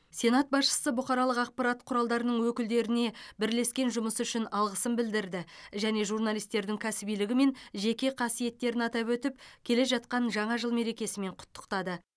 сенат басшысы бұқаралық ақпарат құралдарының өкілдеріне бірлескен жұмысы үшін алғысын білдірді және журналистердің кәсібилігі мен жеке қасиеттерін атап өтіп келе жатқан жаңа жыл мерекесімен құттықтады